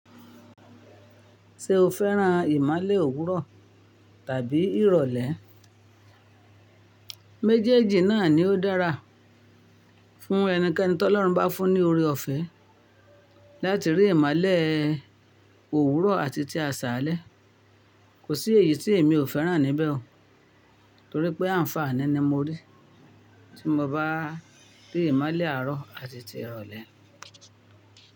Ṣé o fẹ́ran ìmole òwúrọ̀ tàbí ìrọ̀lẹ́? Méjèèjì náà ni ó dára fún ẹnikẹ́ni tí Ọlọ́run bá fún ní oore-ọ̀fẹ́ láti rí ìmole òwúrọ̀ àti ti àṣálẹ́. Kò sí èyí tí èmi ò fẹ́ran níbẹ̀ o, torí pé àǹfààní ni mo rí tí mo bá rí ìmole àárọ̀ àti ti ìrọ̀lẹ́.